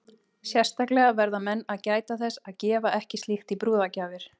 Sérstaklega verða menn að gæta þess að gefa ekki slíkt í brúðargjafir.